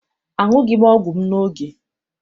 Aṅughị m ọgwụ m n'oge.